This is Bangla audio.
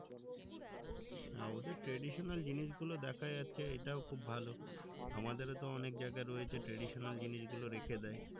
হ্যাঁ ওদের traditional জিনিস গুলো দেখা যাচ্ছে এটাও খুব ভালো আমাদেরতো অনেক জায়গা রয়েছে traditional জিনিস গুলো রেখে দেয়